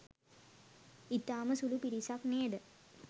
ඉතාම සුළු පිරිසක් නේද